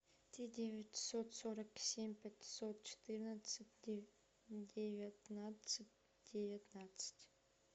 три девятьсот сорок семь пятьсот четырнадцать девятнадцать девятнадцать